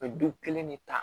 U bɛ du kelen de ta